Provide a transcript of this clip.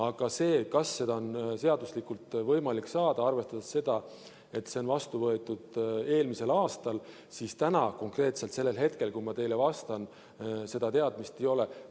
Aga kas seda on seaduslikult võimalik saada, arvestades seda, et see on vastu võetud eelmisel aastal, siis täna, konkreetselt sellel hetkel, kui ma teile vastan, seda teadmist ei ole.